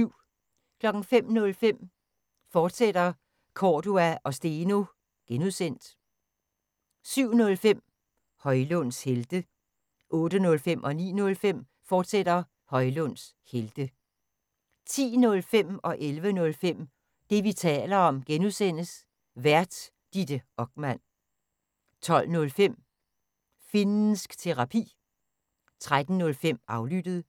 05:05: Cordua & Steno, fortsat (G) 07:05: Højlunds Helte 08:05: Højlunds Helte, fortsat 09:05: Højlunds Helte, fortsat 10:05: Det, vi taler om (G) Vært: Ditte Okman 11:05: Det, vi taler om (G) Vært: Ditte Okman 12:05: Finnsk Terapi 13:05: Aflyttet